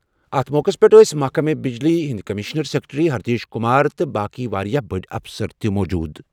اَتھ موقعَس پٮ۪ٹھ ٲسہِ محکمہٕ power commissioner secretary Hirdesh Kumar تہٕ باقٕیہ واریٛاہ بٔڑِ اَفسَر تہِ شٲمِل۔